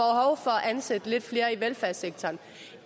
at ansætte lidt flere i velfærdssektoren